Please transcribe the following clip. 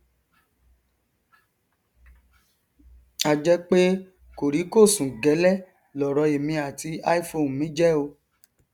a jẹ pé kòríkòsùn gẹlẹ lọrọ èmi àti iphone mi jẹ o